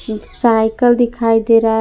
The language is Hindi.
सायकल दिखाई दे रहा है।